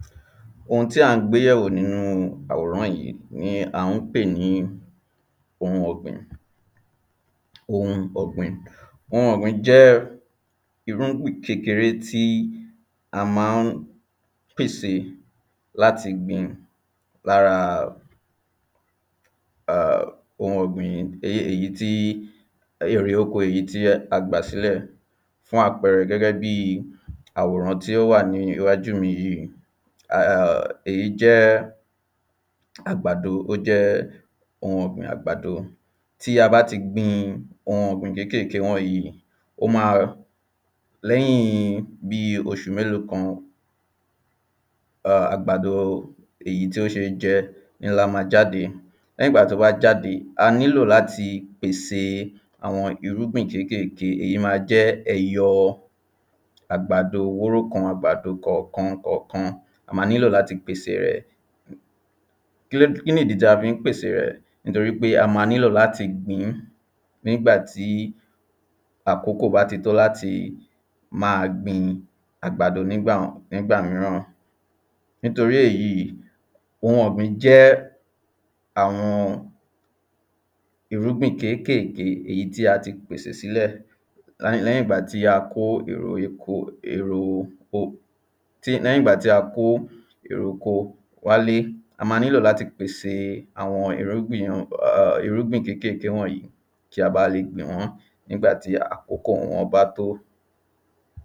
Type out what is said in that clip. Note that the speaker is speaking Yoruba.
Ohun tí à ń gbé yẹ̀wò nínú àwòrán yí ni à ń pè ní ohun ọ̀gbìn. Ohun ọ̀gbìn ohun ọ̀gbín jẹ́ irúgbìn kékeré tí a má ń pèsè láti gbì̃ lára um ohun ọ̀gbìn èyí tí erè oko èyí tí a gbà sílẹ̀. Fún àpẹrẹ gẹ́gẹ́ bí àwòrán tí ó wà níwájú mi yíì. um èyí jẹ́ àgbàdo ó jẹ́ ohun ọ̀gbìn àgbàdo. Tí a bá ti gbin ohun ọ̀gbìn kékèké wọ̀nyí ó má a lẹ́yìn bíi oṣù méló kan, um àgbàdo èyí tí sé ó jẹ́ ńlá máa jáde. Lẹ́yìn tó bá jáde, a nílò láti pèse àwọn irúgbìn kékèké. Èyí ma jẹ́ kí ẹyọ àgbàdo wóró kan àgbàdo kọ̀kan kọ̀kan a ma nílò láti pèse rẹ̀. Kí nìdí tí a fí ń pèsè rẹ̀. Nítorí pé a ma nílò láti gbí nígbà tí àkókò bá tó láti máa gbin àgbàdo nígbà nígbà míràn. Nítorí èyí ohun ọ̀gbìn jẹ́ àwọn irúgbìn kékèké èyí tí a ti pèsè sílẹ̀. Lẹ́yìngbà tí a kó èrè oko èro oko tí lẹ́yìngbà tí a kó ère oko wálé. A ma nílò láti pèse àwọn irúgbìn um kékèké wọ̀nyí. Ká ba le gbìn wọ́n nígbà tí àkókò wọ́n bá tó.